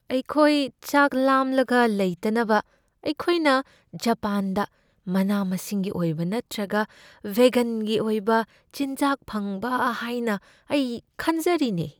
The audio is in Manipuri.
ꯑꯩꯈꯣꯏ ꯆꯥꯛ ꯂꯥꯝꯂꯒ ꯂꯩꯇꯅꯕ ꯑꯩꯈꯣꯏꯅ ꯖꯄꯥꯟꯗ ꯃꯅꯥ ꯃꯁꯤꯡꯒꯤ ꯑꯣꯏꯕ ꯅꯠꯇ꯭ꯔꯒ ꯚꯦꯘꯟꯒꯤ ꯑꯣꯏꯕ ꯆꯤꯟꯖꯥꯛ ꯐꯪꯕ ꯍꯥꯏꯅ ꯑꯩ ꯈꯟꯖꯔꯤꯅꯦ꯫